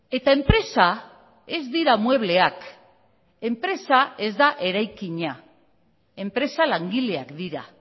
eta enpresa ez dira muebleak enpresa ez da eraikina enpresa langileak dira